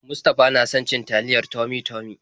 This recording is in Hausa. Mustafa na son cin taliyar Tummy-Tummy.